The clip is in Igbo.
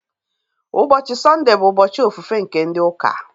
Ụbọchị Sọnde bụ ụbọchị ofufe nke ndị ụka